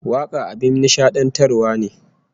Waka abin nishadantarwa ne